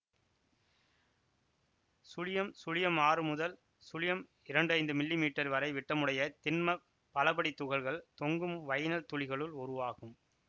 சுழியம் சுழியம் ஆறு முதல் சுழியம் இரண்டு ஐந்து மில்லி மீட்டர் வரை விட்டமுடைய திண்மப் பலபடித் துகள்கள் தொங்கும் வைனைல் துளிகளுள் உருவாகும்